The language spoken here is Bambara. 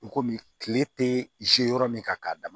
I komi kile tɛ yɔrɔ min ka d